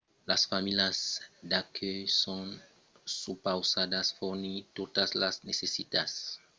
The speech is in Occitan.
las familhas d'acuèlh son supausadas fornir totas las necessitats que mancavan dins l’ostal d’ont foguèron preses prealablament